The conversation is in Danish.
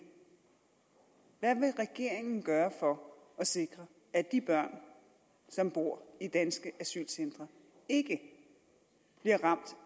hvad vil regeringen gøre for at sikre at de børn som bor i danske asylcentre ikke bliver ramt